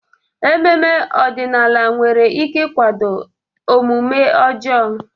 Ememe ọdịnala nwere ike ịkwado omume ọjọọ.